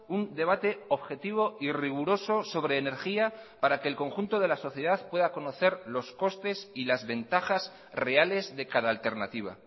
un debate objetivo y riguroso sobre energía para que el conjunto de la sociedad pueda conocer los costes y las ventajas reales de cada alternativa